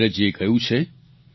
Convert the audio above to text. નીરજજીએ કહ્યું છે